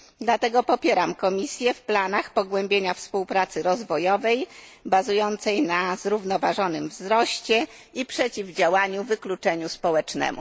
Dlatego popieram Komisję w planach pogłębienia współpracy rozwojowej, bazującej na zrównoważonym wzroście i przeciwdziałaniu wykluczeniu społecznemu.